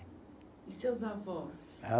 E seus avós? Ah